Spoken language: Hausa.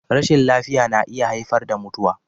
Rashin lafiya na iya haifar da mutuwa.